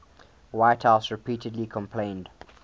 whitehouse repeatedly complained